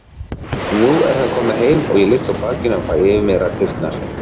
Nú er það komið heim og ég ligg á bakinu og fæ yfir mig raddirnar.